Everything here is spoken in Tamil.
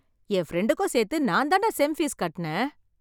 என் பிரெண்டுக்கும் சேர்த்து நான் தான்டா செம் பீஸ் கட்னேன் .